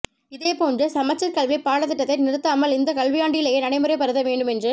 இதே போன்று சமச்சீர் கல்வி பாடத்திட்டத்தை நிறுத்தாமல் இந்த கல்வியாண்டிலேயே நடைமுறைப்படுத்த வேண்டும் என்று